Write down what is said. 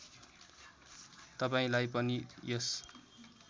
तपाईँलाई पनि यस